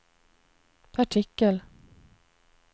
artikel